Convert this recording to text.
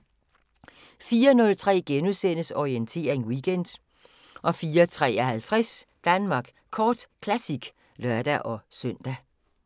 04:03: Orientering Weekend * 04:53: Danmark Kort Classic (lør-søn)